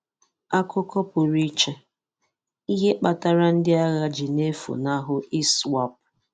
Akụkọ Pụrụ Iche: Ihe Ihe kpatara ndị agha ji na-efunahụ ISWAP.